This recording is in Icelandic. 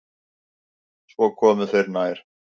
Svo komu þeir nær.